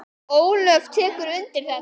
Ólöf tekur undir þetta.